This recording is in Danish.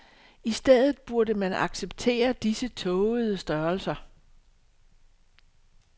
I stedet burde man acceptere disse tågede størrelser.